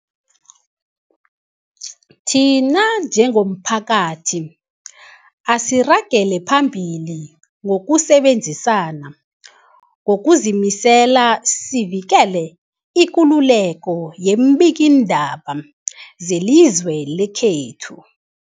Thina njengomphakathi, asiragele phambili ngokusebenzisana ngokuzimisela sivikele ikululeko yeembikiindaba zelizwe lekhethu.